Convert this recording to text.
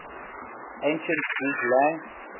ancient greek lang